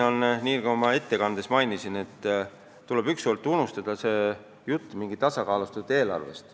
Nagu ma ka oma ettekandes mainisin, tuleb ükskord unustada see jutt tasakaalustatud eelarvest.